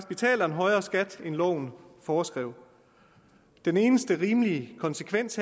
betaler en højere skat end loven foreskriver den eneste rimelige konsekvens